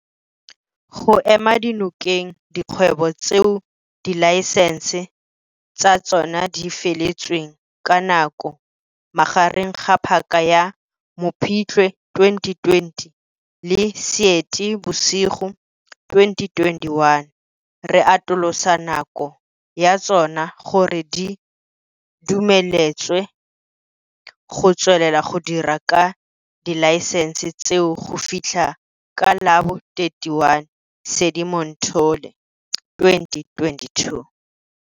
Go ema nokeng dikgwebo tseo dilaesense tsa tsona di feletsweng ke nako magareng ga paka ya Mopitlwe 2020 le Seetebosigo 2021, re atolosa nako ya tsona gore di dumeletswe go tswelela go dira ka dilaesense tseo go fitlha ka la bo 31 Sedimonthole 2022.